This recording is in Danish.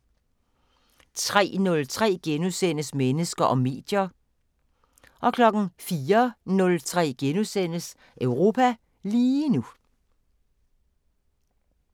03:03: Mennesker og medier * 04:03: Europa lige nu *